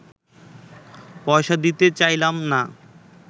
পয়সা দিতে চাহিলাম না